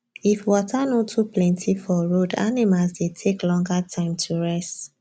if water nor too plenty for road animals dey take longer time to rest